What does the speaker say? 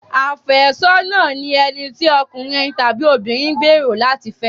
Àfẹ́sọ́nà ni ẹni tí okùnrin tàbí obìnrin gbèrò láti fẹ́.